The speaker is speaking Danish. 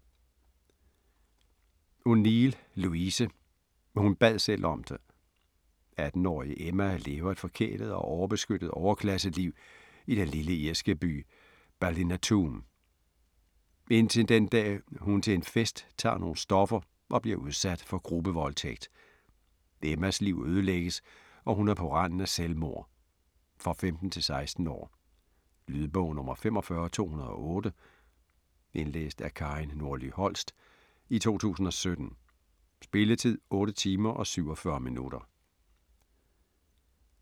O'Neill, Louise: Hun bad selv om det 18-årige Emma lever et forkælet og overbeskyttet overklasseliv i den lille irske by Ballinatoom. Indtil den dag hun til en fest tager nogle stoffer og bliver udsat for gruppevoldtægt. Emmas liv ødelægges, og hun er på randen af selvmord. For 15-16 år. Lydbog 45208 Indlæst af Karin Nordly-Holst, 2017. Spilletid: 8 timer, 47 minutter.